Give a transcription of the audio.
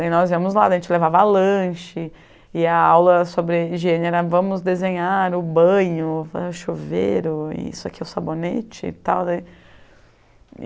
E nós íamos lá, a gente levava lanche e a aula sobre higiene era vamos desenhar o banho, o chuveiro, isso aqui é o sabonete e tal daí